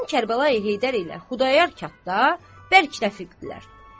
Mərhum Kərbəlayı Heydər ilə Xudayar qatda bərk rəfiqdirlər.